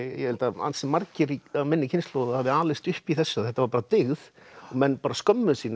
ég held að ansi margir af minni kynslóð hafi alist upp í þessu þetta var bara dyggð og menn skömmuðust sín ef